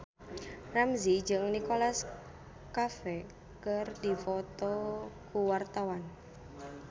Ramzy jeung Nicholas Cafe keur dipoto ku wartawan